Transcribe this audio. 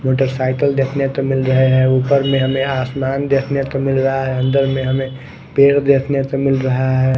Motorcycle देखने को मिल रहे हैं ऊपर में हमें आसमान देखने को मिल रहा है अंदर में हमें पेड़ देखने को मिल रहा है।